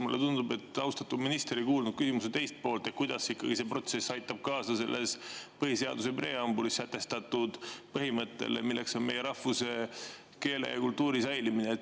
Mulle tundub, et austatud minister ei kuulnud küsimuse teist poolt, kuidas see protsess aitab kaasa põhiseaduse preambulis sätestatud põhimõttele, milleks on meie rahvuse, keele ja kultuuri säilimine.